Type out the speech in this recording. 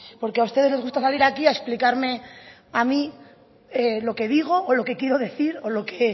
porque a ustedes les gusta salir aquí a explicarme a mí lo que digo o lo que quiero decir o lo que